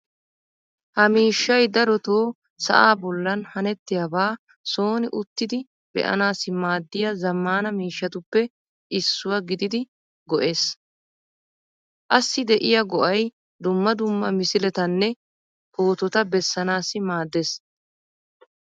Ha miishshay daroto sa'aa bollan hanettiyaaba sooni uttidi be'anaassi maaddiya zammaana miishshatuppe issuwa gididi go'ees. Assi de'iya go'ay dumma dumma misiletanne pootota bessanaassi maaddees.